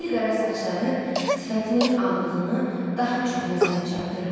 Zil qara saçları sifətinin ağlığını daha çox nəzərə çarpdırırdı.